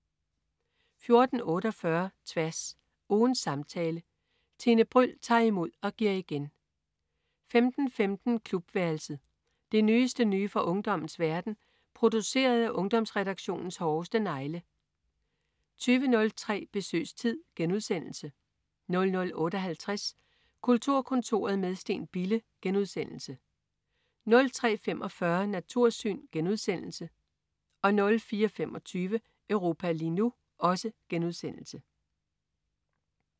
14.48 Tværs. Ugens samtale. Tine Bryld tager imod og giver igen 15.15 Klubværelset. Det nyeste nye fra ungdommens verden, produceret af Ungdomsredaktionens hårdeste negle 20.03 Besøgstid* 00.58 Kulturkontoret med Steen Bille* 03.45 Natursyn* 04.25 Europa lige nu*